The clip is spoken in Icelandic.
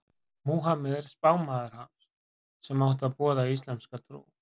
Múhameð er spámaður hans sem átti að boða íslamska trú.